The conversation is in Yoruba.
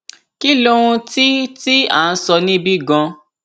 kí lohun tí tí à ń sọ níbí gan